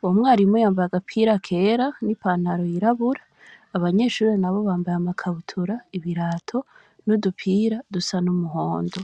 uwo mwarimu yambaye agapira kera n'ipantaro yirabura, abanyeshure nabo bambaye amakabutura, ibirato n'udupira dusa n'umuhondo.